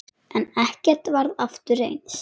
En ekkert varð aftur eins.